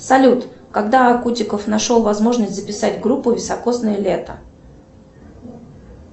салют когда кутиков нашел возможность записать группу високосное лето